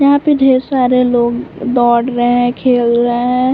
यहाँ पे ढेर सारे लोग दौड़ रहे हैं खेल रहे हैं।